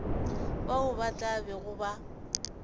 bao ba tla bego ba